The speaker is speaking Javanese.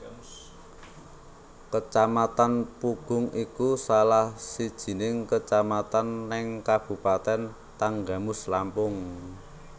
Kecamatan Pugung iku salah sijining kecamatan neng kabupaten Tanggamus Lampung